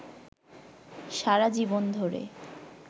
সারা জীবন ধরে